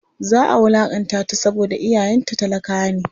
Za a wulaƙantata saboda iyayenta talakawa ne.